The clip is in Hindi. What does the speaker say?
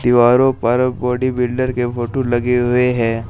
दीवारों पर बॉडी बिल्डर के फोटो लगे हुए हैं।